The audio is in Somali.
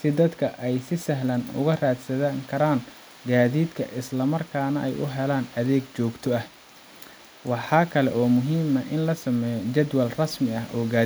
si dadka ay si sahlan uga raadsan karaan gaadiidka isla markaana ay u helaan adeeg joogto ah. Waxaa kale oo muhiim ah in la sameeyo jadwal rasmi ah oo